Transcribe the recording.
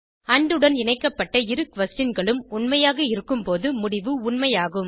and உடன் இணைக்கப்பட்ட இரு questionகளும் உண்மையாக இருக்கும் போது முடிவு உண்மை ஆகும்